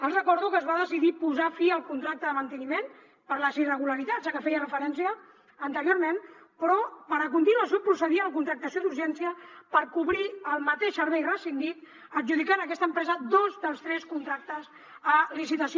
els recordo que es va decidir posar fi al contracte de manteniment per les irregularitats a què feia referència anteriorment però per a continuació procedir a la contractació d’urgència per cobrir el mateix servei rescindit adjudicant a aquesta empresa dos dels tres contractes a licitació